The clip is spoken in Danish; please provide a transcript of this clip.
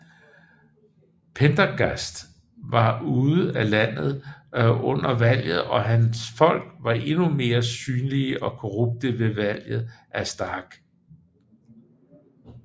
Pendergast var ude af landet under valget og hans folk var endnu mere synlige og korrupte ved valget af Stark